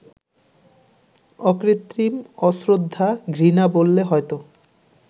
অকৃত্রিম অশ্রদ্ধা-ঘৃণা বললে হয়তো